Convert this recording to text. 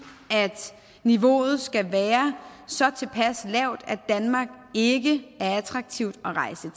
at niveauet skal være så tilpas lavt at danmark ikke er attraktivt at rejse